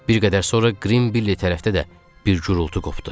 Bir qədər sonra Qrin Bili tərəfdə də bir gurultu qopdu.